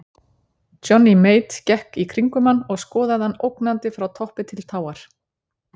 Johnny Mate gekk í kringum hann og skoðaði hann ógnandi frá toppi til táar.